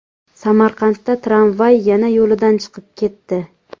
Samarqandda tramvay yana yo‘lidan chiqib ketdi .